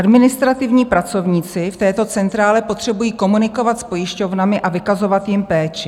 Administrativní pracovníci v této centrále potřebují komunikovat s pojišťovnami a vykazovat jim péči.